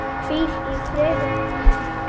Hvíl í friði nafni.